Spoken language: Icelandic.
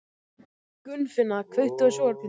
Gunnfinna, kveiktu á sjónvarpinu.